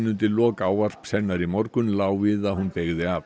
undir lok ávarps hennar í morgun lá við að hún beygði af